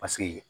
Paseke